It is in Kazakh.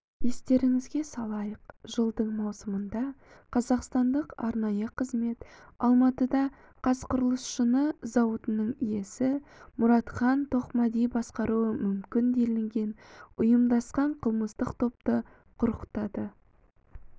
естеріңізге салайық жылдың маусымында қазақстандық арнайы қызмет алматыда қазқұрылысшыны зауытының иесі мұратхан тоқмәди басқаруы мүмкін делінген ұйымдасқан қылмыстық топты құрықтады